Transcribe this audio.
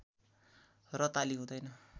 र ताली हुँदैन